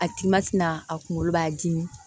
A ti mati na a kunkolo b'a dimi